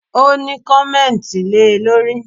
O ní, kọ̀mẹ́ntì le lórí!